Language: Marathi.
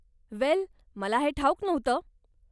वेल, मला हे ठाऊक नव्हतं.